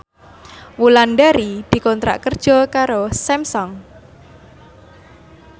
Wulandari dikontrak kerja karo Samsung